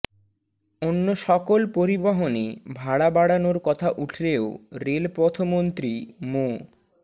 অন্য সকল পরিবহনে ভাড়া বাড়ানোর কথা উঠলেও রেলপথমন্ত্রী মো